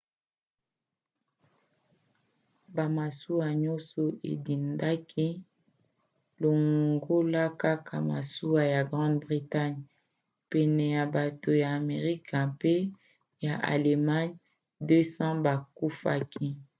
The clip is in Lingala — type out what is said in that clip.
bamasuwa nyonso edindaki longola kaka masuwa ya grande bretagne. pene ya bato ya amerika mpe ya allemagne 200 bakufaki